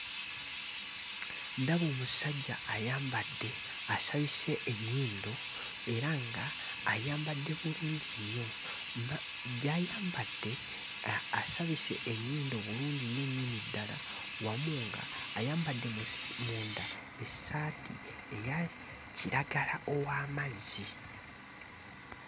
Ndaba omusajja ayambadde asabise ennyindo era ng'ayambadde bulungi nnyo. Gy'ayambadde asabise ennyindo bulungi nnyo nnyini ddala wamu ng'ayambadde mu si... munda essaati eya kiragala ow'amazzi.